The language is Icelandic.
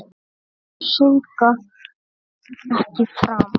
Syndga ekki framar.